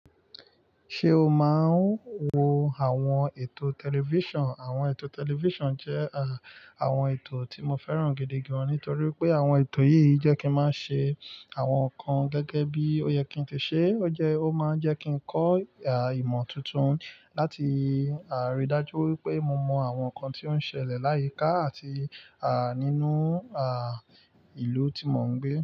Ṣé o máa ń wo àwọn ètò tẹlifíṣàn? Àwọn ètò tẹlifíṣàn jẹ́ àwọn ètò tí mo fẹ́ràn gidi gan-an, nítorí pé àwọn ètò yìí jẹ́ kí n má ṣe àwọn nǹkan gẹ́gẹ́ bí o yẹ kí n ti ṣe é. Ó jẹ́, ó máa ń jẹ́ kí n kọ́ ìmọ̀ tuntun láti rí dájú wípé mo mọ àwọn nǹkan tí ó ń ṣẹlẹ̀ láyìíká àti à nínú à ìlú tí mo ń gbé.